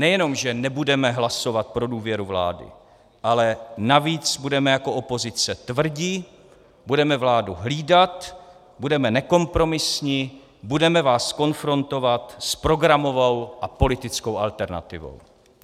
Nejenom že nebudeme hlasovat pro důvěru vlády, ale navíc budeme jako opozice tvrdí, budeme vládu hlídat, budeme nekompromisní, budeme vás konfrontovat s programovou a politickou alternativou!